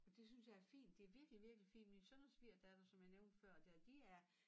Og det synes jeg er fint det virkelig virkelig fint min søn og svigerdatter som jeg nævnte før dér de er